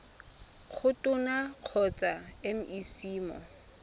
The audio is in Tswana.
go tona kgotsa mec mo